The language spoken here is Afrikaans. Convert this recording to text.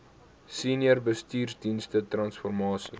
senior bestuursdienste transformasie